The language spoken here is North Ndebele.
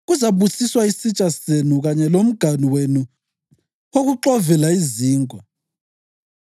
Kuzabusiswa isitsha senu kanye lomganu wenu wokuxovela izinkwa.